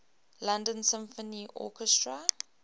london symphony orchestra